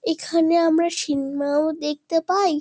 এখানে আমরা সিনমা -ও দেখতে পাই।